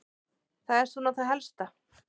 Það er svona það helsta.